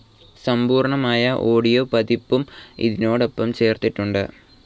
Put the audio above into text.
സമ്പൂർണ്ണമായ audio പതിപ്പും ഇതിനോടൊപ്പം ചേർത്തിട്ടുണ്ട്.